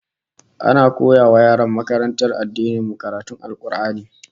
Ana koya wa yaran makarantar addinin mu karatun Al-Qur'ani